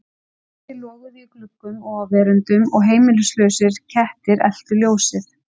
Kerti loguðu í gluggum og á veröndum og heimilislausir kettir eltu ljósið.